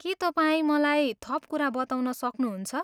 के तपाईँ मलाई थप कुरा बताउन सक्नुहुन्छ?